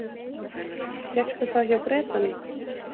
Fékkstu það hjá Bretanum?